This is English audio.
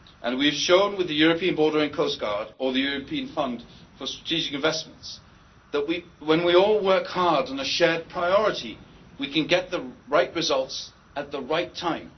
We have shown with the European Border and Coast Guard and the European Fund for Strategic Investments that, when we all work hard on a shared priority, we can achieve the right results at the right time.